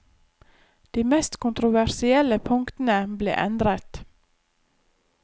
De mest kontroversielle punktene ble endret.